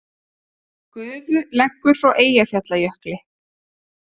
Gufu leggur frá Eyjafjallajökli